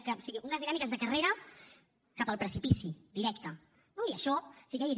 o sigui unes dinàmiques de carrera cap al precipici directe no i això sí que hi és